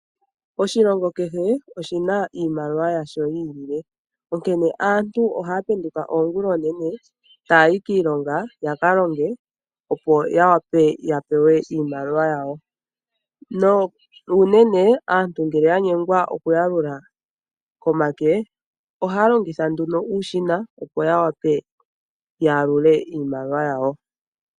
Oshilongo kehe oshina iimaliwa yasho yi ili onkene aantu ohaya penduka oonguloonene taya yi kiilongo ya kalonge opo yawape yapewe iimaliwa yawo, na unene aantu ngele yanyengwa oku yalula komake ohaya longitha uushina opo ya wape ya yalule iimaliwa yawo mondjila.